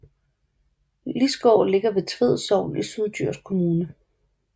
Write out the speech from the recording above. Iisgård ligger i Tved Sogn i Syddjurs Kommune